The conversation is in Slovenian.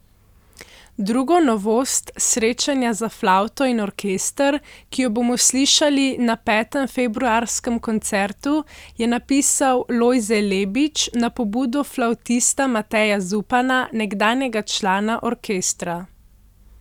Drugo novost, Srečanja za flavto in orkester, ki jo bomo slišali na petem, februarskem koncertu je napisal Lojze Lebič na pobudo flavtista Mateja Zupana, nekdanjega člana orkestra.